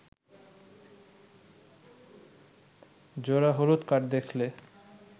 জোড়া হলুদ কার্ড দেখলে